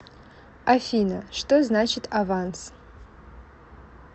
афина что значит аванс